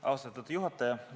Austatud juhataja!